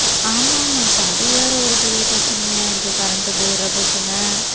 ஆமாமா, இப்ப அது வேற ஒரு பெரிய பிரச்சனையா இருக்கு current போயிடுற பிரச்சனை.